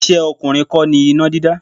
Iṣẹ́ ọkùnrin kọ́ ni iná dídá.